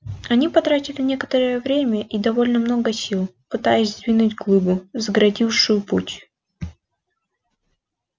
они потратили некоторое время и довольно много сил пытаясь сдвинуть глыбу загородившую путь